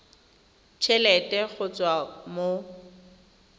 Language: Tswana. t helete go tswa mo